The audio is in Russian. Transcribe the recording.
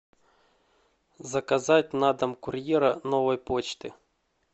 заказать на дом курьера новой почты